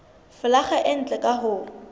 folaga e ntle ka ho